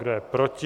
Kdo je proti?